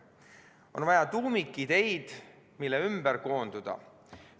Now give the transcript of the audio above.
On vaja tuumikideid, mille ümber koonduda.